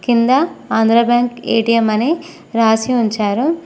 కింద Andhra Bank A T M అని రాసి ఉంచారు.